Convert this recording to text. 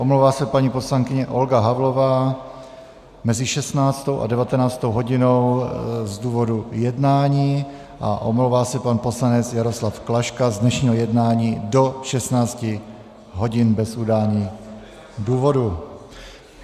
Omlouvá se paní poslankyně Olga Havlová mezi 16. a 19. hodinou z důvodu jednání a omlouvá se pan poslanec Jaroslav Klaška z dnešního jednání do 16 hodin bez udání důvodu.